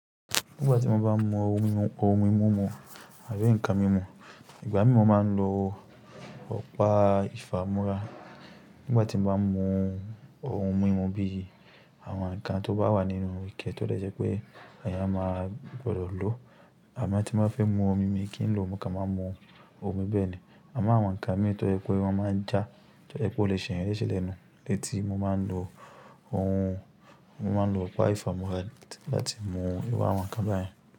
Ngba tí mo bá mu ohun mímu, ohun mumu àbí nǹkan mímu ìgbà mi mo máa ń lò ọ̀pá ìfámúrá ngbà tí ń bá mu ohun mímu bí i àwọn ǹnkan tó bá wà nínú ike tó dẹ̀ jẹ́ ipé èeyàn a máa gbọdọ̀ lòó. Àmọ́ tí n bá fẹ́ mu omi, mi kin lò, mo kan máa n mu omi be ni àmo àwọn ǹnkan mì tó yẹ́ pé wọ́n máa ń jà, tó dẹ̀ yẹ́ pé ó lè ṣe ẹ̀eyan lese lẹ́nu lẹ́tí mo máa ń lò ohun, mo máa ń lò ọ̀pá ìfámúrá láti láti mu ìru àwọn ǹnkan beyen.